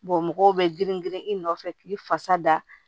mɔgɔw bɛ girin girin i nɔfɛ k'i fasa da